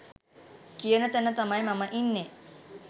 කියන තැන තමයි මම ඉන්නෙ.